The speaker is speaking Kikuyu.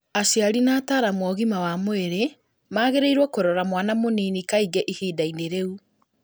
aciari na ataaramu a ũgima wa mwĩrĩ magĩrĩirũo kũrora mwana mũnini kaingĩ ihinda-inĩ rĩu.